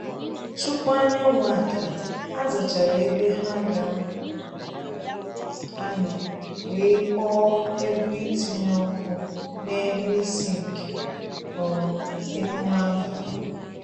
Tupu anyanwụ ada, ha zachara ebe ha ga anọ wee kpọọ egwu itinye ọkụ n’elu isi nke um emume abalị